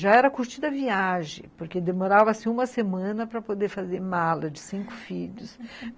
Já era curtida a viagem, porque demorava uma semana para poder fazer mala de cinco filhos